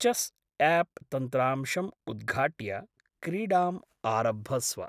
Chess app तन्त्रांशम् उद्घाट्य क्रीडाम् आरभस्व ।